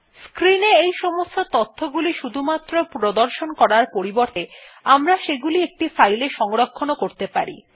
screen এ এই সমস্ত তথ্যগুলি শুধুমাত্র প্রদর্শন করার পরিবর্তে আমরা সেগুলি একটি ফাইলে সংরক্ষণ করতে পারি